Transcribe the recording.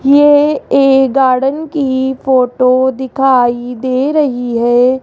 ये एक गार्डन की फोटो दिखाई दे रही है।